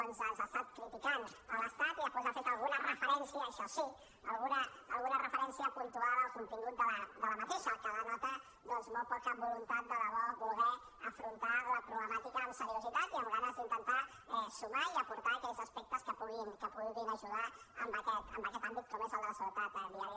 ens ha estat criticant l’estat i després ha fet alguna referència això sí alguna referència puntual al contingut d’aquesta el que denota molt poca voluntat de debò de voler afrontar la problemàtica amb seriositat i amb ganes d’intentar sumar i aportar aquells aspectes que puguin ajudar en aquest àmbit com és el de la seguretat viària